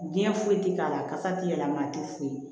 Diɲɛ foyi tɛ k'a la kasa ti yɛlɛma a tɛ foyi